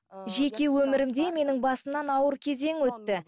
жеке өмірімде менің басымнан ауыр кезең өтті